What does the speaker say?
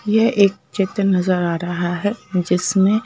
यह एक चित्र नजर आ रहा है जिसमें--